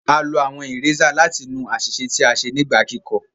A lo awọn erasers láti nu aṣiṣe tí a ṣe nígbà kikọ